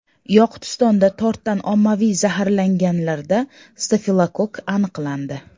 Yoqutistonda tortdan ommaviy zaharlanganlarda stafilokokk aniqlandi.